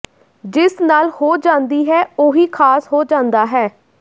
ਜਿਸ ਨਾਲ ਹੋ ਜਾਂਦੀ ਹੈ ਉਹੀ ਖ਼ਾਸ ਹੋ ਜਾਂਦਾ ਹੈ